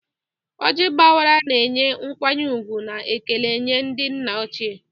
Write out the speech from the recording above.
Ojii agbawara, na-enye nkwanye ùgwù na ekele nye ndị nna ochie.